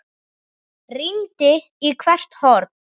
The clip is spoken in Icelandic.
Rýndi í hvert horn.